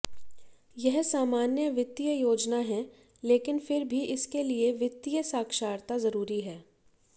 यह सामान्य वित्तीय योजना है लेकिन फिर भी इसके लिए वित्तीय साक्षरता जरूरी है